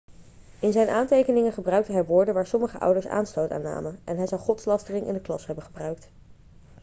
in zijn aantekeningen gebruikte hij woorden waar sommige ouders aanstoot aan namen en hij zou godslastering in de klas hebben gebruikt